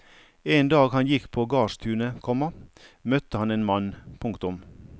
En dag han gikk på gardstunet, komma møtte han en mann. punktum